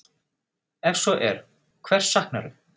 Ef svo er, hvers saknarðu?